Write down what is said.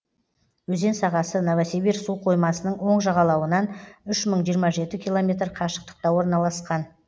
өзен сағасы новосибир суқоймасының оң жағалауынан үш мың жиырма жеті километр қашықтықта орналасқан